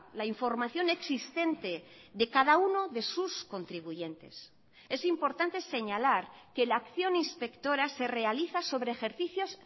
la información existente de cada uno de sus contribuyentes es importante señalar que la acción inspectora se realiza sobre ejercicios